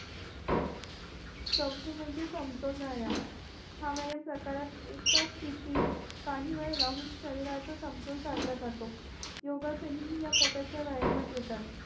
चवथा म्हणजे समतोल व्यायाम हा व्यायाम प्रकारात एकाच सिथित काही वेळ राहून शहरीर समतोल साधला जातो योगासने हे याप्रकारच्या व्यायामात येतात